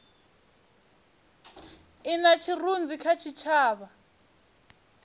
i na tshirunzi kha tshitshavha